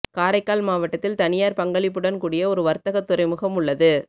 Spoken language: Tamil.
காரைக்கால் மாவட்டத்தில் தனியார் பங்களிப்புடன் கூடிய ஒரு வர்த்தக துறைமுகம் உள்ளது